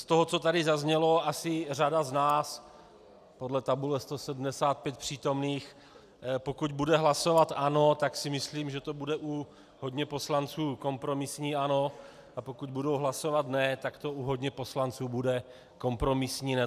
Z toho, co tady zazněl, asi řada z nás - podle tabule 175 přítomných - pokud bude hlasovat ano, tak si myslím, že to bude u hodně poslanců kompromisní ano, a pokud budou hlasovat ne, tak to u hodně poslanců bude kompromisní ne.